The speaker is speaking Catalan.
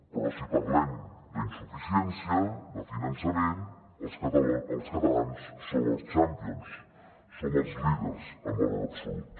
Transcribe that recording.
però si parlem d’insuficiència de finançament els catalans som els champions som els líders en valor absolut